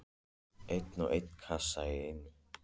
Einn og einn kassa í einu.